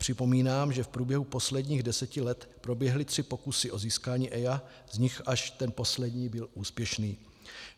Připomínám, že v průběhu posledních deseti let proběhly tři pokusy o získání EIA, z nichž až ten poslední byl úspěšný.